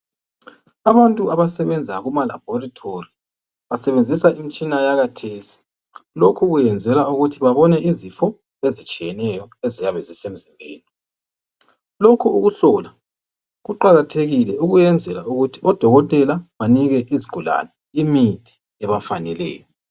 Abantu abasebenza kumalabhorithori basebenzisa imtshina yakhathesi lokhu kwenzelwa ukuthi babone izifo ezitshiyeneyo eziyabe zisemzimbeni, lokhu ukuhlola kuqakathekile ukuyenzela ukuthi odokotela banike izigulani imithi ebafaneleyo.